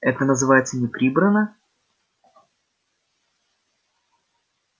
это называется не прибрано